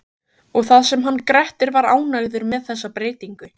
Og það sem hann Grettir var ánægður með þessa breytingu!